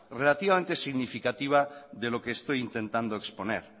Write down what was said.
relativamente significativa de lo que estoy intentando exponer